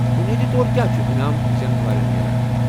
بنیٲدی طورکیٚا چھٗ انعام زینن والٮ۪ن میلان؟